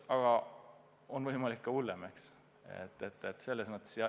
Aga on võimalik ka hullem olukord.